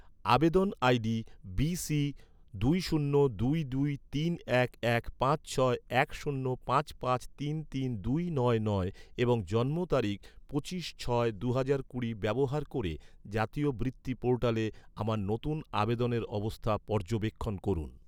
আবেদন ID BC দুই শূন্য দুই দুই তিন এক এক পাঁচ ছয় এক শূন্য পাঁচ পাঁচ তিন তিন দুই নয় নয় এবং জন্ম তারিখ পঁচিশ ছয় দুহাজার কুড়ি ব্যবহার ক’রে, জাতীয় বৃত্তি পোর্টালে আমার নতুন আবেদনের অবস্থা পর্যবেক্ষণ করুন